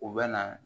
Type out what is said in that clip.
U bɛ na